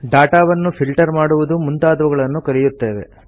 data ವನ್ನು filter ಮಾಡುವುದು ಮುಂತಾದವುಗಳನ್ನು ಕಲಿಯುತ್ತೇವೆ